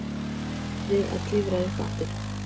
Óaði við að klifra upp aftur.